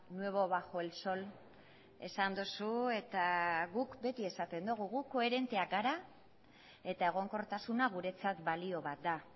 nuevo bajo el sol esan duzu eta guk beti esaten dugu gu koherenteak gara eta egonkortasuna guretzat balio bat da